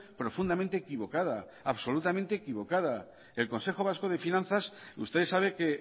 profundamente equivocada el consejo vasco de finanzas usted sabe que